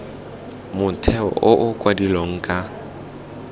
motheo o o adilweng ka